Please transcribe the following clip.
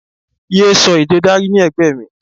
Yé sọ èdè Dari ní ẹ̀gbẹ́ mi!